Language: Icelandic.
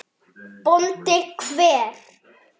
BÓNDI: Hver?